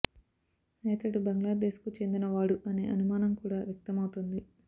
అయితే అతడు బంగ్లాదేశ్కు చెందిన వాడు అనే అనుమానం కూడా వ్యక్తమవుతోంది